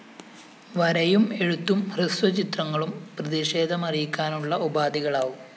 വരയും എഴുത്തും ഹ്രസ്വചിത്രങ്ങളും പ്രതിഷേധമറിയിക്കാനുള്ള ഉപാധികളാവും